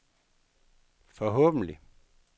forhåbentlig